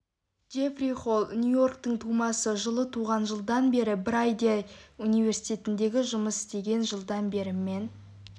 джефри холл нью-йорктің тумасы жылы туған жылдан бері брандей университетінде жұмыс істеген жылдан бері мэн